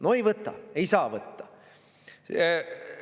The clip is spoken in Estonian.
No ei võta, ei saa võtta!